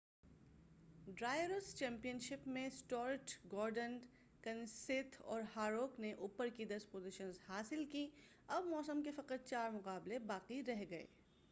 drivers championship میں Stuart Gordon کنسیتھ اور ہاروک نے اوپر کی دس پوزیشن حاصل کی اب موسم کے فقط چار مقابلے باقی رہ گئے